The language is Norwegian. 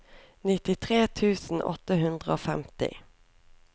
nittitre tusen åtte hundre og femti